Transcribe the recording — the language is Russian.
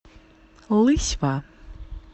лысьва